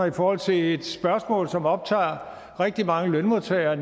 i forhold til et spørgsmål som optager rigtig mange lønmodtagere